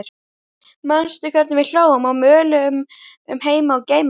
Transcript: Manstu hvernig við hlógum og möluðum um heima og geima?